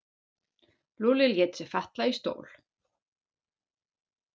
Lúlli lét sig falla í stól.